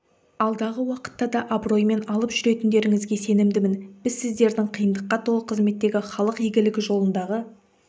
алдағы уақытта да абыроймен алып жүретіндеріңізге сенімдімін біз сіздердің қиындыққа толы қызметтегі халық игілігі жолындағы